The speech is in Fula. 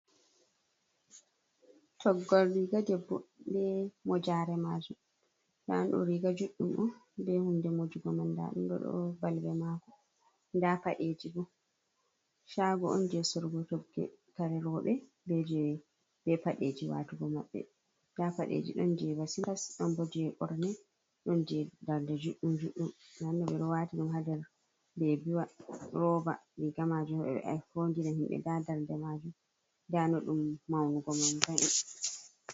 Toggol riga debbo be mojare majum nda ɗum riga juɗɗum on be hunde mojugo man nda ɗum ɗo balbe maako nda paɗeji bo shago on je sorugo togge kare roɓe be je be paɗeji je watugo maɓɓe nda paɗeji ɗon jeba silipas ɗon bo je ɓorne ɗon je darde juɗɗum ɓeɗo wati ɗum ha ndar bebiwa roba riga majum ɓeɗo fodira himɓe nda darde majum nda ɗum maunugo va'i .